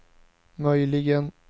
möjligen